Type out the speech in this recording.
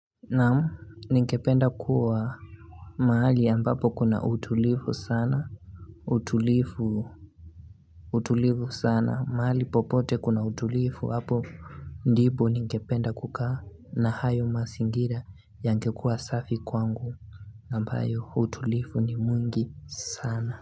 Naam ningependa kuwa mahali ambapo kuna utulivu sana, utulivu, utulivu sana mahali popote kuna utulivu hapo ndipo ningependa kukaa na hayo mazingira yangekuwa safi kwangu ambayo utulivu ni mwingi sana.